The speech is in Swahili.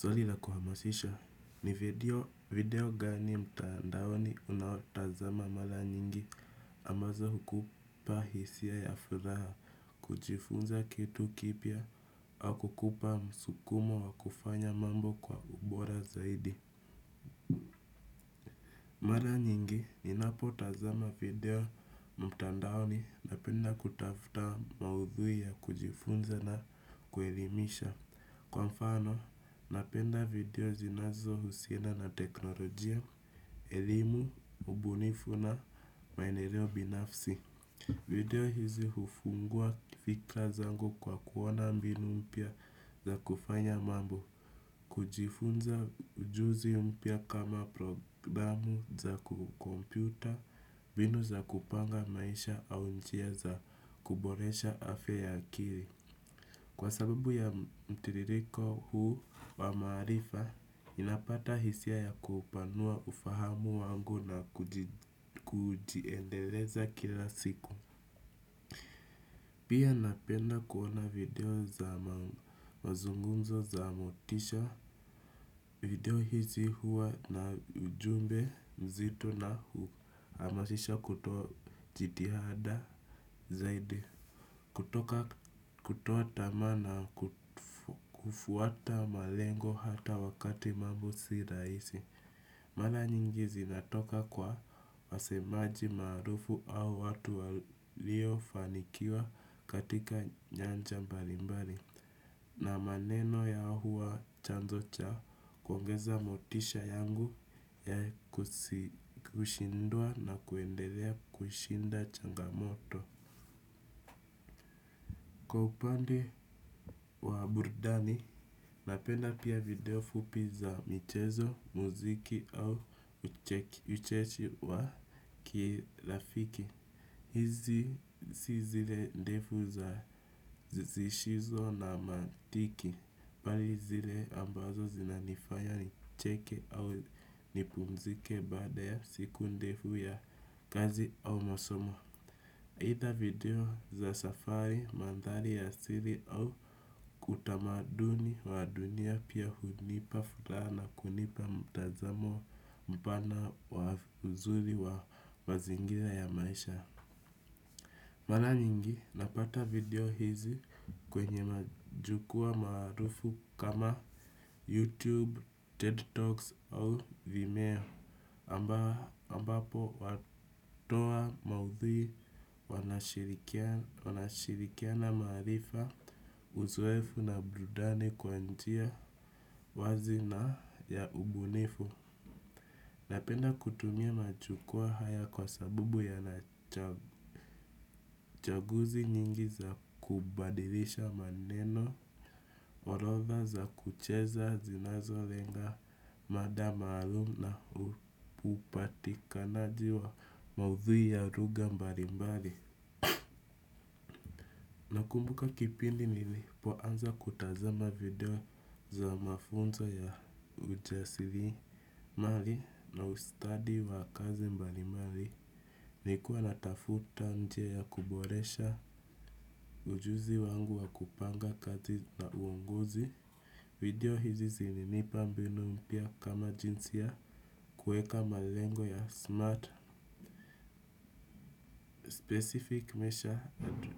Zwali kuhamasisha, ni video gani mtandaoni unaotazama mara nyingi ambazo hukupa hisia ya furaha, kujifunza kitu kipia, au kukupa msukumo wa kufanya mambo kwa ubora zaidi. Maranyingi ninapoi tazama video mtandaoni napenda kutafuta maudhui ya kujielimisha. Kwa mfano, napenda video zinazo husiana na teknolojia, elimu, mbunifu na mainereo binafsi. Video hizi ufungua fikla zangu kwa kuona mbinu mpya za kufanya mambo. Kujifunza ujuzi umpya kama programu za kukompyuta, mbinu za kupanga maisha au njia za kuboresha afya ya akiri. Kwa sababu ya mtiririko huu wa marifa, inapata hisia ya kupanua ufahamu wangu na kujiendeleza kila siku. Pia napenda kuona video za mazungunzo za motisha video hizi huwa na ujumbe mzito na hamasisha kutoa jitihada zaidi. Kutoka kutotama na kufuata malengo hata wakati mambo siraisi. Mala nyingizi natoka kwa wasemaji marufu au watu walio fanikiwa katika nyanja mbalimbari. Na maneno ya huwa chanzo cha kwangeza motisha yangu ya kushindua na kuendelea kushinda changamoto. Kwa upandi wa burdani, napenda pia video fupi za michezo, muziki au cheki, uchechi wa kilafiki. Hizi si zile ndefu za zishizo na mantiki. Bali zile ambazo zina nifanya ncheke au nipumzike badaya siku ndefu ya gazi au masomo. Ita video za safari, mandhali ya asiri au kutamaduni wa dunia pia hunipa futa na kunipa mtazamo mpana wa mzuri wa zingira ya maisha. Mana nyingi napata video hizi kwenye majukua marufu kama YouTube, TED Talks au Vimeo ambapo watoa maudhi wanashirikia na marifa uzwefu na brudani kwantia wazi na ya ubunifu. Napenda kutumia machukua haya kwa sabubu ya nachaguzi nyingi za kubadilisha maneno, orotha za kucheza zinazo lenga madama alum na upatika na jiwa maudhu ya ruga mbalimbali. Nakumbuka kipindi nilipo anza kutazama video za mafunzo ya ujasili mali na ustadi wa kazi mbalimali ni kuwa natafuta nje ya kuboresha ujuzi wangu wa kupanga kazi na uunguzi. Video hizi zininipa mbino mpya kama jinsi ya kueka malengo ya smart specific measure ato